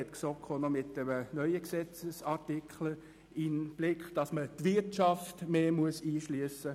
Deshalb hat die GSoK auch einen neuen Gesetzesartikel im Blick, mit welchem die Wirtschaft mehr einbezogen werden soll.